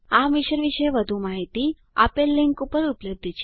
આ મિશન પર વધુ માહીતી આપેલ લીંક પર ઉપલબ્ધ છે